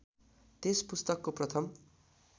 त्यस पुस्तकको प्रथम